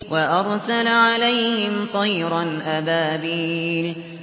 وَأَرْسَلَ عَلَيْهِمْ طَيْرًا أَبَابِيلَ